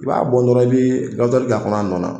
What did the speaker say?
I b'a bɔn dɔrɔn i bɛ k'a kɔnɔ a nɔ na.